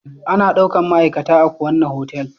Ana daukan ma'aikata a kuwanna hotel